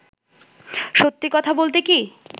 সত্যি কথা বলতে কী